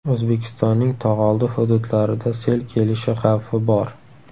O‘zbekistonning tog‘oldi hududlarida sel kelishi xavfi bor.